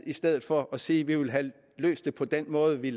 i stedet for at sige at vi vil have løst det på den måde vi